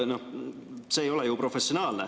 See ei ole ju professionaalne.